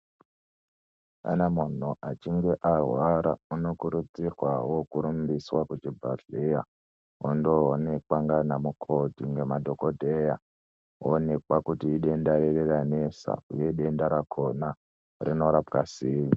Kana muntu achinge arwara unokurudzirwawo kurumbiswa kuchibhedhlera onoonekwa ndaana mukoti nemadhokodheya, oonekwa kuti idenda reyi ranetsa uye denda rakona rinorapwa sei.